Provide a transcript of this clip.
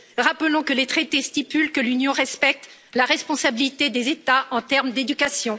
Rappelons que les traités stipulent que l'Union respecte la responsabilité des États en termes d'éducation.